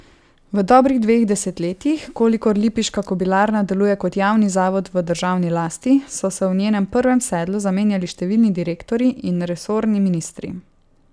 V dobrih dveh desetletjih, kolikor lipiška kobilarna deluje kot javni zavod v državni lasti, so se v njenem prvem sedlu zamenjali številni direktorji in resorni ministri.